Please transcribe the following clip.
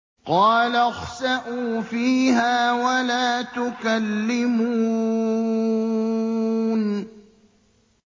قَالَ اخْسَئُوا فِيهَا وَلَا تُكَلِّمُونِ